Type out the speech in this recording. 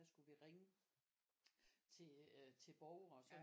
Der skulle vi ringe til borgere og sådan